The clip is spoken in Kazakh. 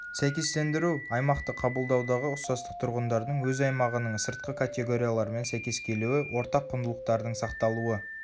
сәйкестендіру аймақты қабылдаудағы ұқсастық тұрғындардың өз аймағының сыртқы категориялармен сәйкес келуі ортақ құндылықтардың сақталауы